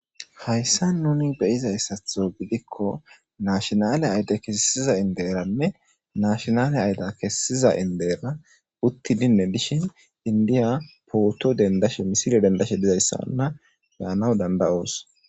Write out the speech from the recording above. Hayssa nuni beyizayssatho gidikko naashinale ayde kesisiza inderanne naashinale ayda kessiza indera uttidinne dishin indiya pooto dendashe misile dendashe dizayssa onna beyanaw danda'oos.